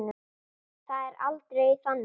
Það er aldrei þannig.